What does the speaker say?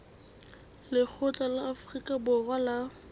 lekgotla la afrika borwa la